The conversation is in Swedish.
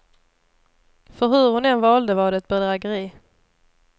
För hur hon än valde var det ett bedrägeri.